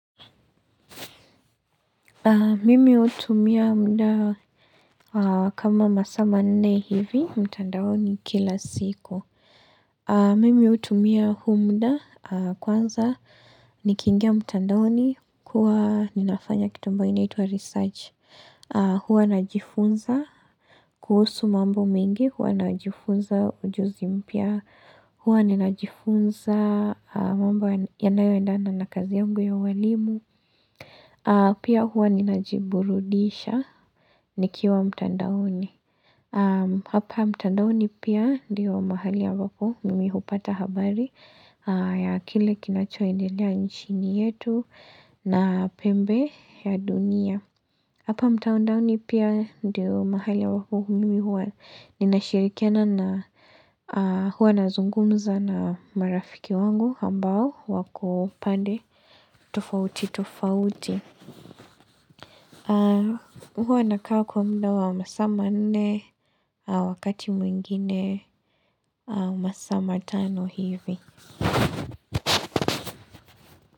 Mimi hutumia muda kama masaa manne hivi, mtandaoni kila siku. Mimi hutumia huu muda, kwanza nikiingia mtandaoni, huwa ninafanya kitu ambayo inaitwa research. Huwa najifunza kuhusu mambo mingi, huwa najifunza ujuzi mpya. Huwa ninajifunza mambo yanayoendana na kazi yangu ya uwalimu. Pia huwa ninajiburudisha nikiwa mtandaoni. Hapa mtandaoni pia ndio mahali ambapo mimi hupata habari ya kile kinacho endelea nchini yetu na pembe ya dunia. Hapa mtandaoni pia ndio mahali ambako mimi huwa ninashirikiana, na huwa nazungumza na marafiki wangu ambao wako pande tofauti tofauti. Huwa nakaa kwa muda wa masaa manne, wakati mwingine, masaa matano hivi.